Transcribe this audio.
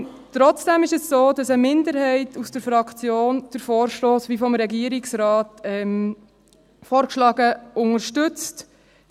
Trotzdem ist es so, dass eine Minderheit aus der Fraktion den Vorstoss, wie vom Regierungsrat vorgeschlagen, unterstützt.